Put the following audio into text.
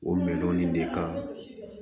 O mɛno nin de kan